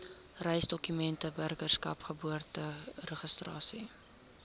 reisdokumente burgerskap geboorteregistrasie